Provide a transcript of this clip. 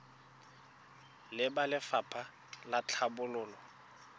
le ba lefapha la tlhabololo